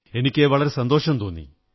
എനിക്കു വളരെ സന്തോഷം തോന്നി